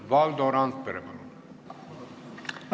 Valdo Randpere, palun!